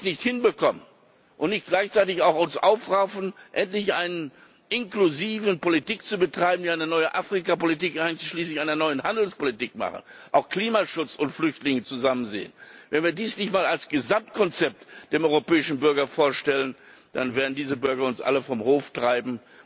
Wenn wir das nicht hinbekommen und uns nicht gleichzeitig auch aufraffen, endlich eine inklusive Politik zu betreiben, wenn wir nicht eine neue Afrikapolitik einschließlich einer neuen Handelspolitik machen, auch Klimaschutz und Flüchtlinge zusammen sehen, wenn wir dies nicht einmal als Gesamtkonzept dem europäischen Bürger vorstellen, dann werden diese Bürger uns alle vom Hof treiben.